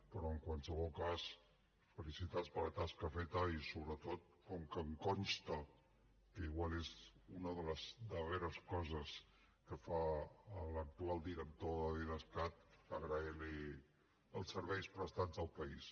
però en qualsevol cas felicitats per la tasca feta i sobretot com que em consta que igual és una de les darreres coses que fa l’actual director de l’idescat agrair li els serveis prestats al país